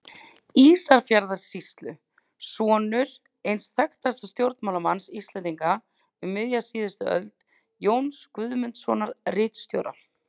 Ísafjarðarsýslu, sonur eins þekktasta stjórnmálamanns Íslendinga um miðja seinustu öld, Jóns Guðmundssonar, ritstjóra.